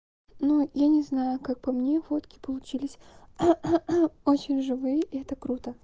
ну я не знаю как по мне фотки получились очень живые и это круто